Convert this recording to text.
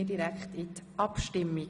Wir kommen zur Abstimmung.